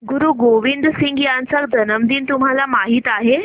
गुरु गोविंद सिंह यांचा जन्मदिन तुम्हाला माहित आहे